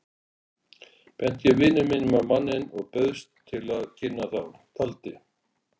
Benti ég vini mínum á manninn og bauðst til að kynna þá, taldi